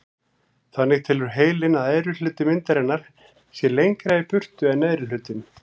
Þannig telur heilinn að efri hluti myndarinnar sé lengra í burtu en neðri hlutinn.